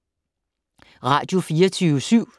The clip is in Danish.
Radio24syv